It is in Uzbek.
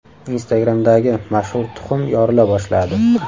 Instagram’dagi mashhur tuxum yorila boshladi.